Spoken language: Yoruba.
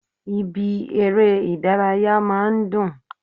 Ibi eré Ìdárayá máa n dùn